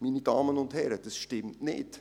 Meine Damen und Herren, dies stimmt nicht!